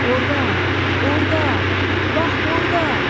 Orda, orda, bax orda!